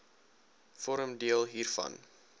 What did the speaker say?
vorm deel hiervan